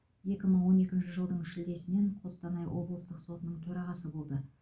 екі мың он екінші жылдың шілдесінен қостанай облыстық сотының төрағасы болды